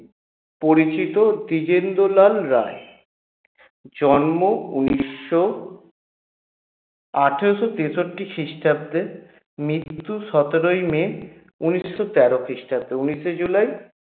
পরিচিত দিজেন্দ্রলাল রায় জন্ম উনিশশো আঠারোশ তেষট্টি খ্রিস্টাব্দে মৃত্যু সতেরই may উনিশশো তেরো খ্রিস্টাব্দে উনিশে july